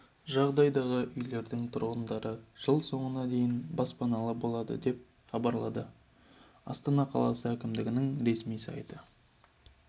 жағдайдағы үйлердің тұрғындары жыл соңына дейін баспаналы болады деп хабарлады астана қаласы әкімдігінің ресми сайты